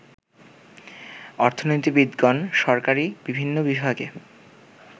অর্থনীতিবিদগণ সরকারী বিভিন্ন বিভাগে